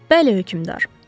Bəli hökmdar.